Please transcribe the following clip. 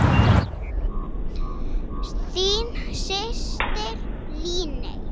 Þín systir, Líney.